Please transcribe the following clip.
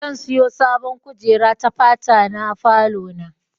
Zan siyo sabon kujera ta fata na falo na.